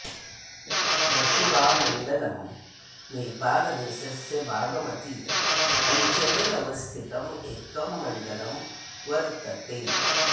रसुवामण्डलम् नेपालदेशस्य बागमती अञ्चले अवस्थितं एकं मण्डलं वर्तते